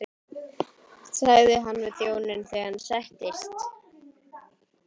sagði hann við þjóninn þegar hann settist.